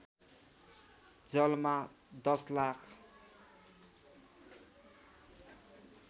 जलमा १० लाख